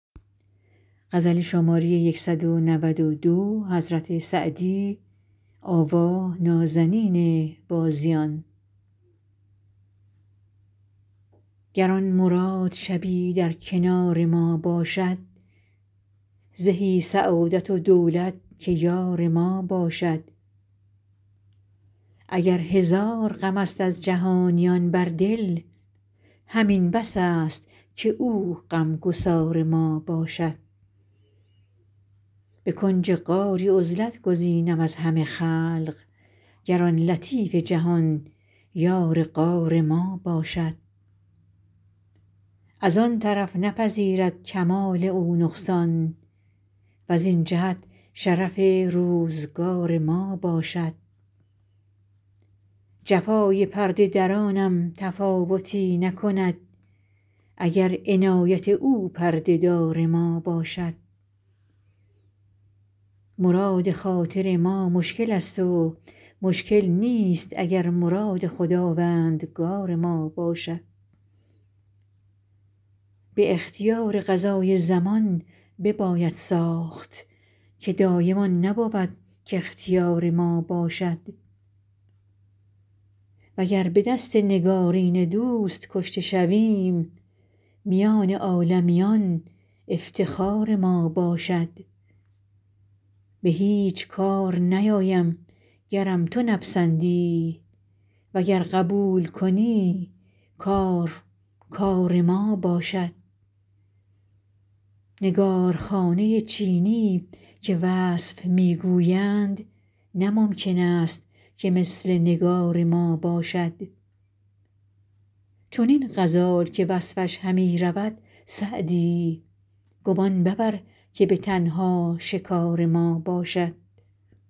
گر آن مراد شبی در کنار ما باشد زهی سعادت و دولت که یار ما باشد اگر هزار غم است از جهانیان بر دل همین بس است که او غم گسار ما باشد به کنج غاری عزلت گزینم از همه خلق گر آن لطیف جهان یار غار ما باشد از آن طرف نپذیرد کمال او نقصان وزین جهت شرف روزگار ما باشد جفای پرده درانم تفاوتی نکند اگر عنایت او پرده دار ما باشد مراد خاطر ما مشکل است و مشکل نیست اگر مراد خداوندگار ما باشد به اختیار قضای زمان بباید ساخت که دایم آن نبود کاختیار ما باشد وگر به دست نگارین دوست کشته شویم میان عالمیان افتخار ما باشد به هیچ کار نیایم گرم تو نپسندی وگر قبول کنی کار کار ما باشد نگارخانه چینی که وصف می گویند نه ممکن است که مثل نگار ما باشد چنین غزال که وصفش همی رود سعدی گمان مبر که به تنها شکار ما باشد